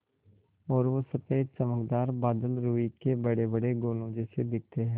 और वो सफ़ेद चमकदार बादल रूई के बड़ेबड़े गोलों जैसे दिखते हैं